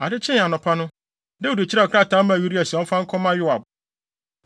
Ade kyee anɔpa no, Dawid kyerɛw krataa maa Uria sɛ ɔmfa nkɔma Yoab.